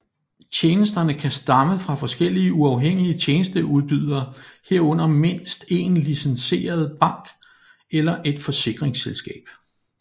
Tjenesterne kan stamme fra forskellige uafhængige tjenesteudbydere herunder mindst én licenseret bank eller et forsikringsselskab